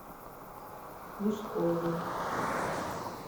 мешкове